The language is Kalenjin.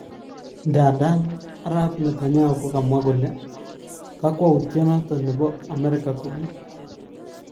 Ndadan arap Netanyahu kokomwa kole kakwautietnepo amerika kokiii